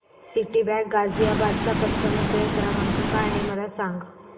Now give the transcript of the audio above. Citibank Ghaziabad चा customer care क्रमांक काय आहे मला सांग